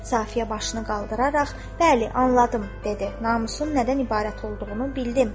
Safiyə başını qaldıraraq, bəli, anladım, dedi, namusun nədən ibarət olduğunu bildim.